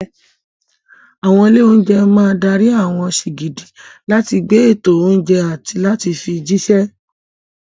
Àwọn ilé-oúnjẹ máa dárí àwọn sìgìdì láti gba ètò oúnjẹ àti láti fi jíṣẹ́.